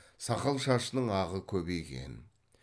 сақал шашының ағы көбейген